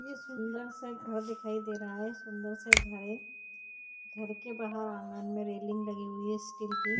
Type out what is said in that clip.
ये सुंदर सा घर दिखाई दे रहा है सुंदर सा घर है घर के बाहर आंगन में रेलिंग लगी हुई है स्टील की --